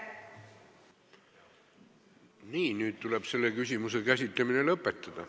Nii, nüüd tuleb selle küsimuse käsitlemine lõpetada.